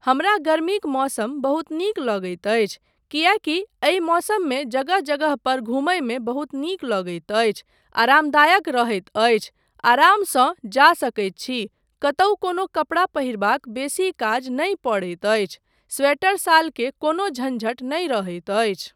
हमरा गर्मीक मौसम बहुत नीक लगैत अछि, किएकी एहि मौसममे जगह जगह पर घुमयमे बहुत नीक लगैत अछि, आरामदायक रहैत अछि, आरामसँ जा सकैत छी, कतहुँ कोनो कपड़ा पहिरबाक बेसी काज नहि पड़ैत अछि, स्वेटर शाल के कोनो झंझट नहि रहैत अछि।